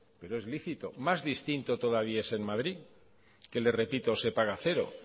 es lícito más distinto todavía es en madrid que le repito que se paga cero